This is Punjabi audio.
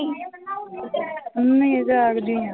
ਨਹੀਂ ਜਾਗਦੀ ਹਾਂ।